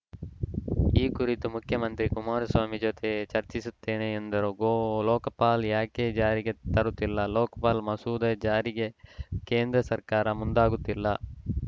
ಈ ಕುರಿತು ಮುಖ್ಯಮಂತ್ರಿ ಕುಮಾರಸ್ವಾಮಿ ಜತೆ ಚರ್ಚಿಸುತ್ತೇನೆ ಎಂದರು ಗೋ ಲೋಕಪಾಲ ಯಾಕೆ ಜಾರಿಗೆ ತರುತ್ತಿಲ್ಲ ಲೋಕಪಾಲ ಮಸೂದೆ ಜಾರಿಗೆ ಕೇಂದ್ರ ಸರ್ಕಾರ ಮುಂದಾಗುತ್ತಿಲ್ಲ